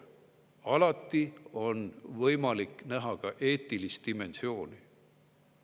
Alati on võimalik näha ka eetilist dimensiooni.